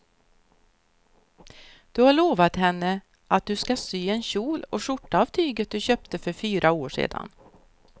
Du har lovat henne att du ska sy en kjol och skjorta av tyget du köpte för fyra år sedan.